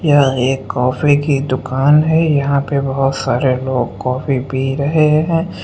यह एक कॉफी की दुकान है यहां पर बहुत सारे लोग कॉफी पी रहे हैं।